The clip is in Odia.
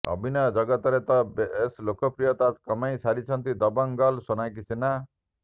ଅଭିନୟ ଜଗତରେ ତ ବେଶ୍ ଲୋକପ୍ରିୟତା କମାଇ ସାରିଛନ୍ତି ଦବଙ୍ଗ ଗର୍ଲ ସୋନାକ୍ଷୀ ସିହ୍ନା